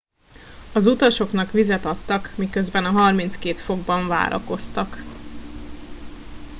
az utasoknak vizet adtak miközben a 32 fokban várakoztak